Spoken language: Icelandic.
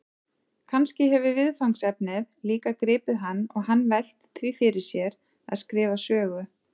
Kannski hefur viðfangsefnið líka gripið hann og hann velt því fyrir sér að skrifa sögu?